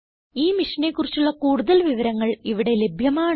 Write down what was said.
ഈ മിഷനെ കുറിച്ചുള്ള കുടുതൽ വിവരങ്ങൾ ഇവിടെ ലഭ്യമാണ്